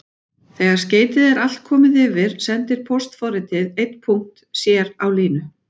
Þegar skeytið er allt komið yfir sendir póstforritið einn punkt sér á línu.